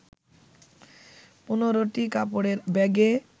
১৫টি কাপড়ের ব্যাগে